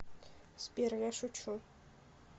сбер я шучу